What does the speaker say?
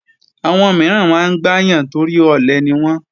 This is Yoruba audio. Àwọn mìíràn máa ń gbáyàn torí ọ̀lẹ niwọ́n